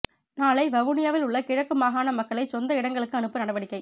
நாளை வவுனியாவிலுள்ள கிழக்கு மாகாண மக்களை சொந்த இடங்களுக்கு அனுப்ப நடவடிக்கை